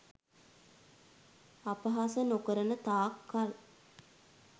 අපහාස නොකරන තාක් කල්